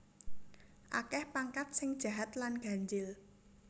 Akeh pangkat sing jahat lan ganjil